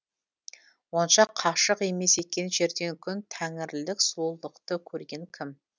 онша қашық емес екен жерден күн тәңірлілік сұлулықты көрген кім